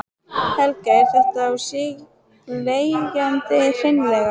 Helga: Er þetta á sig leggjandi hreinlega?